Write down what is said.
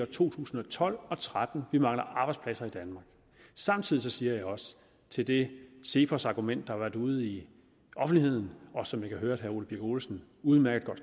to tusind og tolv og tretten vi mangler arbejdspladser i danmark samtidig siger jeg også til det cepos argument der har været ude i offentligheden og som jeg kan høre at herre ole birk olesen udmærket